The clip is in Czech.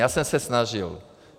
Já jsem se snažil.